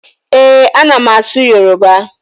Ee, a na m asụ Yoruba